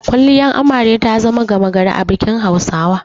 Kwalliyar Amare ta zama gama gari a bikin Hausawa.